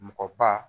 Mɔgɔ ba